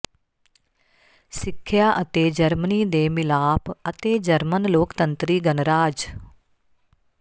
ਸਿੱਖਿਆ ਅਤੇ ਜਰਮਨੀ ਦੇ ਮਿਲਾਪ ਅਤੇ ਜਰਮਨ ਲੋਕਤੰਤਰੀ ਗਣਰਾਜ